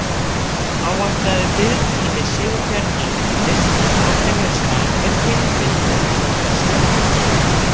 Áætlaður biðtími Sigurbjarnar Víðis á hverjum stað er tilgreindur aftast.